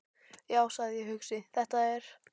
Já, sagði ég hugsi: Þetta er.